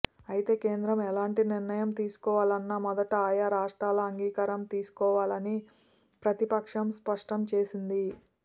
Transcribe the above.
అయితే కేంద్రం ఎలాంటి నిర్ణయం తీసుకోవాలన్నా మొదట ఆయా రాష్ట్రాల అంగీకారం తీసుకోవాలని ప్రతిపక్షం స్పష్టం చేసింది